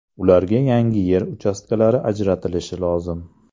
Ularga yangi yer uchastkalari ajratilishi lozim.